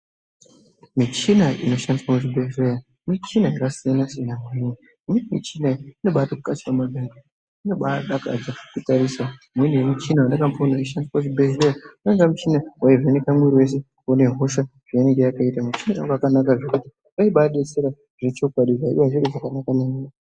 Michina inoshandiswa kuzvibhedhlera michina yakasiyanasiyana kwemene inobaadakadza kutarisa .Mune muchina wandakamboona weishandiswa muchibhedhleya wainga muchina waivheneka mwiri wese kuona hosha zvainenge yakaita. Mushadiro wakanaka zvekuti unobaadetsera zvechokwadi uye zviri zvakanaka maningi.